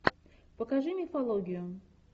покажи мифологию